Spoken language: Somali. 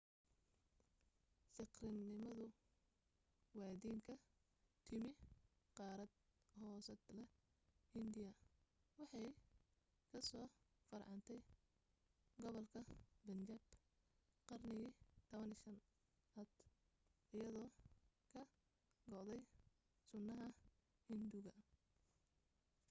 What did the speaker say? siikhnimadu waa diin ka timi qaarad hoosaadla hindiya waxay ka soo farcantay gobolka bunjaab qarnigii 15aad iyadoo ka go'day sunnaha hinduuga